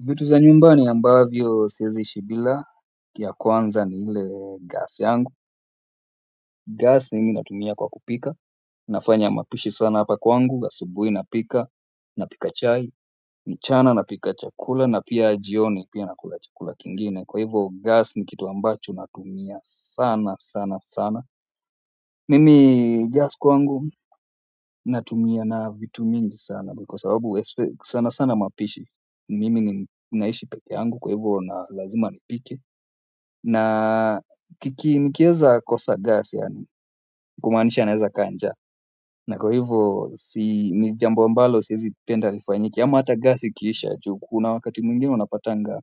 Vitu za nyumbani ambavyo siwezi ishi bila, ya kwanza ni ile gas yangu. Gas mimi natumia kwa kupika, nafanya mapishi sana hapa kwangu, asubui napika, napika chai, mchana napika chakula na pia jioni pia nakula chakula kingine kwa hivyo gas ni kitu ambacho natumia sana sana sana. Mimi gas kwangu natumia na vitu mingi sana ndio kwa sababu sana sana mapishi mimi naishi peke yangu kwa hivyo na lazima nipike na kiki nikiweza kosa gas yaani kumaanisha naweza kaa njaa na kwa hivyo si ni jambo ambalo siwezipenda lifanyike ama hata gas ikiisha juu kuna wakati mwingine unapatanga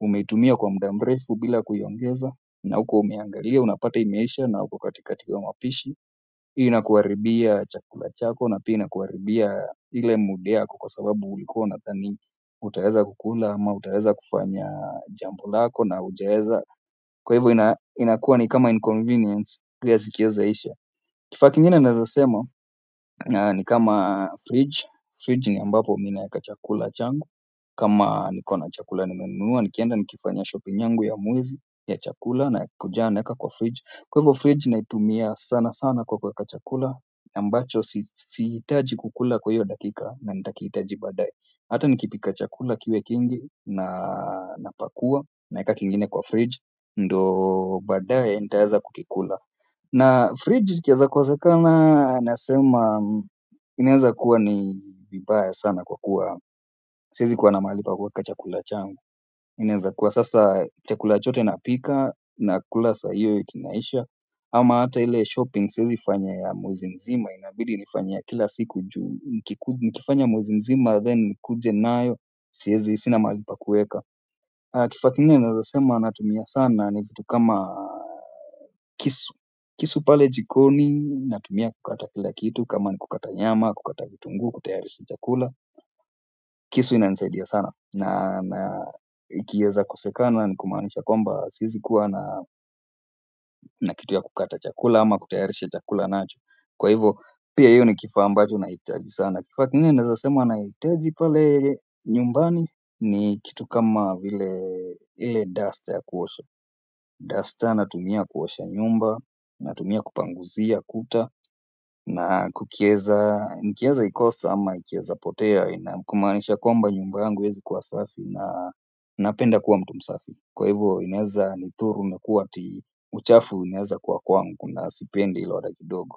umeitumia kwa muda mrefu bila kuiongeza na hukuwa umeiangalia unapata imeisha na uko katikati wa mapishi hiyo inakuharibia chakula chako na pia kuharibia ile mood yako kwa sababu ulikuwa unadhani utaweza kukula ama utaweza kufanya jambo lako na hujaweza kwa hivo inakua ni kama inconvenience gas ikiweza isha kifaa kingine naweza sema ni kama fridge, fridge ni ambapo mimi naweka chakula changu kama nikona chakula nimenunua, nikienda nikifanya shoping nyangu ya mwezi ya chakula nakujanga naeka kwa fridge. Kwa hivo fridge naitumia sana sana kwa kuweka chakula ambacho sihitaji kukula kwa hiyo dakika na nitakihitaji baadaye hata nikipika chakula kiwe kingi na napakua na eka kingine kwa fridge ndio baadaye nitaweza kukikula na fridge ikiweza kosekana nasema inaweza kuwa ni vibaya sana kwa kuwa siwezi kuwa na mahali pa kuweka chakula changu inaeza kuwa sasa chakula chote napika na kula saa hiyo kinaisha ama hata ile shopping siwezi fanya ya mwezi mzima inabidi nifanye ya kila siku juu nikifanya mwezi mzima. Then nikuje nayo siwezi sina mahali pa kueka. Kifaa kingine naweza sema natumia sana ni vitu kama kisu. Kisu pale jikoni natumia kukata kila kitu kama ni kukata nyama, kukata vitunguu, kutayarisha chakula. Kisu inanisaidia sana na ikiweza kosekana ni kumaanisha kwamba siwezi kuwa na na kitu ya kukata chakula ama kutayarisha chakula nacho kwa hivyo pia hivyo ni kifaa ambacho nahitaji sana. Kifaa kingine nawezasema nahitaji pale nyumbani ni kitu kama vile ile duster ya kuosha. Duster natumia kuosha nyumba, natumia kupanguzia kuta na kukiweza, nikiweza ikosa ama ikiweza potea na kumaanisha kwamba nyumba yangu haiwezi kwa safi na napenda kuwa mtu msafi kwa hivyo inaweza nidhuru kuwa ati uchafu inaweza kuwa kwangu na sipendi hilo hata kidogo.